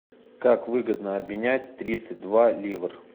как выгодно обменять тридцать два ливр